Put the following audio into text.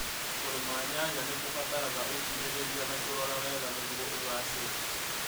Kũrĩma nyanya nĩ kũbataraga ũkirĩrĩria na kũrora wega nĩguo ũgaacĩre.